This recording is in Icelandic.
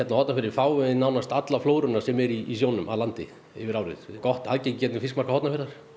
á Hornafirði fáum nánast alla flóruna sem er í sjónum að landi yfir árið gott aðgengi í gegnum fiskmarkað Hornafjarðar